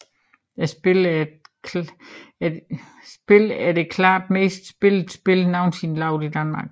Spillet er det klart mest spillede spil nogensinde lavet i Danmark